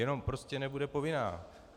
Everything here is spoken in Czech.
Jenom prostě nebude povinná.